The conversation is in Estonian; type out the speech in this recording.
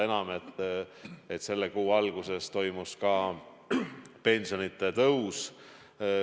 Ja selle kuu alguses toimus pensionitõus.